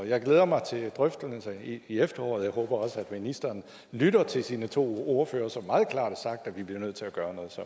jeg glæder mig til drøftelserne i efteråret jeg håber også at ministeren lytter til sine to ordførere som meget klart har sagt at vi bliver nødt til at gøre noget så